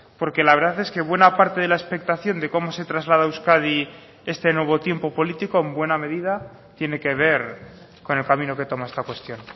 porque la verdad es que buena parte de la expectación de cómo se traslada a euskadi este nuevo tiempo político en buena medida tiene que ver con el camino que toma esta cuestión